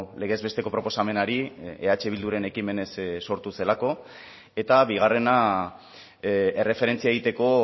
legez besteko proposamenari eh bilduren ekimenez sortu zelako eta bigarrena erreferentzia egiteko